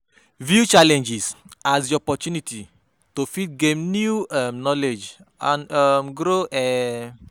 view challenges as di opportunity to fit gain new um knowledge and um grow um